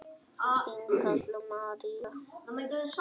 Þín Kalla María.